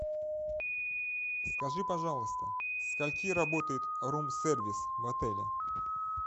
скажи пожалуйста со скольки работает рум сервис в отеле